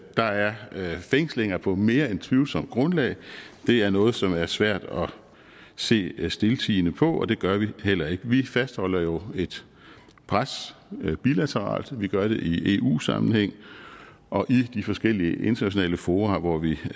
der er fængslinger på mere end tvivlsomt grundlag det er noget som er svært at se stiltiende på og det gør vi heller ikke vi fastholder jo et pres bilateralt vi gør det i eu sammenhæng og i de forskellige internationale fora hvor vi